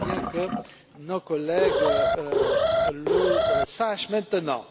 C'est bien que nos collègues le sachent maintenant.